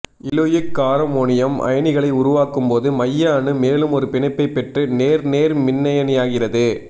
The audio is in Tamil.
இலூயிக் காரம் ஒனியம் அயனிகளை உருவாக்கும் போது மைய அணு மேலும் ஒரு பிணைப்பைப் பெற்று நேர் நேர்மின்னயனியாகிறது